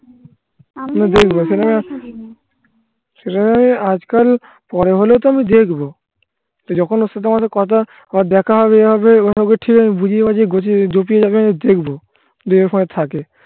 দেখ আজকাল পরে হলেও তো আমি দেখবো. তো যখন তো তোমাদের কথা আবার দেখা হবে হবে কথা বুঝিয়ে বুজিয়ে জটিল জায়গায় দেখবো.